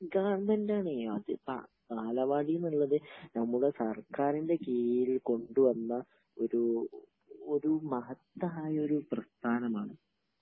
ഗവൺമെന്റാണ്.അത് ബാലവാടി ന് ഉള്ളത് നമ്മടെ സർക്കാരിന്റെ കീഴിൽ കൊണ്ടുവന്ന ഒരു മഹത്തായൊരു പ്രസ്ഥാനമാണ്.